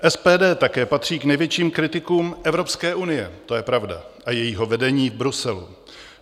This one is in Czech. SPD také patří k největším kritikům Evropské unie, to je pravda, a jejího vedení v Bruselu.